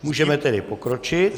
Můžeme tedy pokročit.